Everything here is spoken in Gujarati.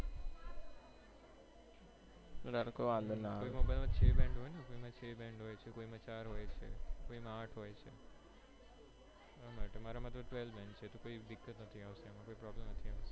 ઘર તો એમ પણ નાં આવે એમાં ચ band હોય ને છ band કોઈક માં ચાર હોય છે કોઈક માં આઠ હોય છે એમાં મારા માટે twelve band કોઈ દિકદ નથી કોઈ problem નથી